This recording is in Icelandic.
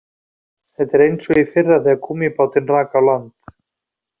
Þetta er eins og í fyrra þegar gúmmíbátinn rak á land